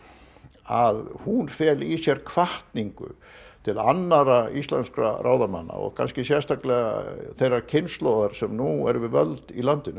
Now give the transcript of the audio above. að hún feli í sér hvatningu til annarra íslenskra ráðamanna og sérstaklega þeirrar kynslóðar sem nú er við völd í landinu